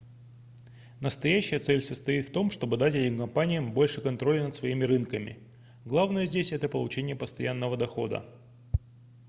настоящая цель состоит в том чтобы дать этим компаниям больше контроля над своими рынками главное здесь это получение постоянного дохода